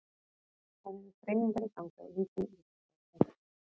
Það eru þreifingar í gangi á ýmsum vígstöðvum.